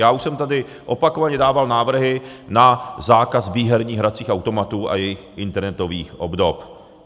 Já už jsem tady opakovaně dával návrhy na zákaz výherních hracích automatů a jejich internetových obdob.